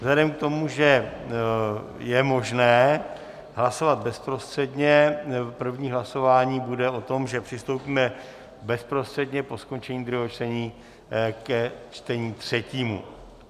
Vzhledem k tomu, že je možné hlasovat bezprostředně, první hlasování bude o tom, že přistoupíme bezprostředně po skončení druhého čtení ke čtení třetímu.